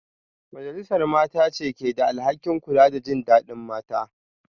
Majalisar Mata ce ke da alhakin kula da jin dadin mata